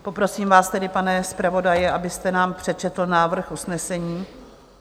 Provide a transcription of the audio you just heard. Poprosím vás tedy, pane zpravodaji, abyste nám přečetl návrh usnesení.